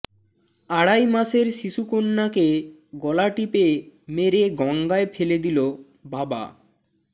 আড়াই মাসের শিশুকন্যাকে গলা টিপে মেরে গঙ্গায় ফেলে দিল বাবা